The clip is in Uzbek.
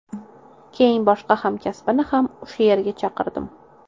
Keyin boshqa hamkasbimni ham o‘sha yerga chaqirdim.